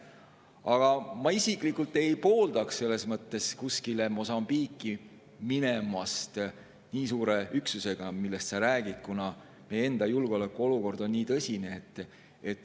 Aga ma isiklikult ei pooldaks selles mõttes kuskile Mosambiiki minemist nii suure üksusega, nagu sa räägid, kuna meie enda julgeolekuolukord on nii tõsine.